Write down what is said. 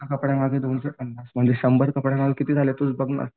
एका कापडामागे दोनशे पन्नास म्हणजे शंभर कपड्यांमागे किती झाले तूच बघ ना.